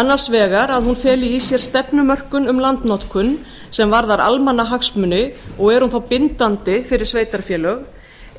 annars vegar að hún feli í sér stefnumörkun um landnotkun sem varðar almannahagsmuni og er hún þá bindandi fyrir sveitarfélög